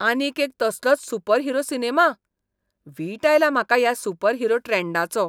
आनीक एक तसलोच सुपरहिरो सिनेमा? वीट आयला म्हाका ह्या सुपरहिरो ट्रॅन्डाचो.